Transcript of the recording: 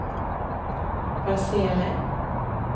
Barsele